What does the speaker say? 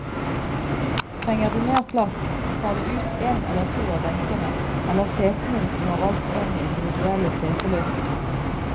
Trenger du mer plass, tar du ut en eller to av benkene, eller setene hvis du har valgt en med individuelle seteløsninger.